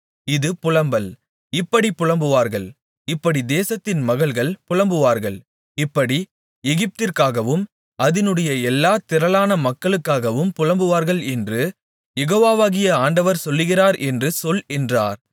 இது புலம்பல் இப்படிப் புலம்புவார்கள் இப்படி தேசத்தின் மகள்கள் புலம்புவார்கள் இப்படி எகிப்திற்காகவும் அதினுடைய எல்லாத் திரளான மக்களுக்காகவும் புலம்புவார்கள் என்று யெகோவாகிய ஆண்டவர் சொல்லுகிறார் என்று சொல் என்றார்